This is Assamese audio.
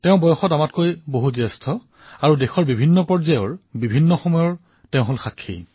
তেওঁ বয়সত আমাতকৈ ডাঙৰ আৰু দেশৰ বিভিন্ন ঘাতপ্ৰতিঘাত উত্থানপতনৰো তেওঁ সাক্ষী